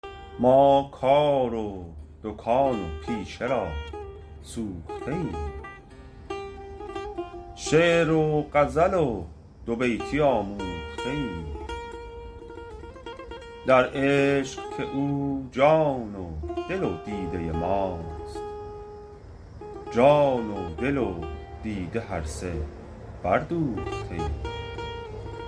ما کار و دکان و پیشه را سوخته ایم شعر و غزل و دو بیتی آموخته ایم در عشق که او جان و دل و دیده ماست جان و دل و دیده هر سه بردوخته ایم